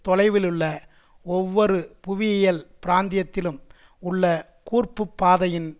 தொலைவிலுள்ள ஒவ்வொரு புவியியல் பிராந்தியத்திலும் உள்ள கூர்ப்புப் பாதையின்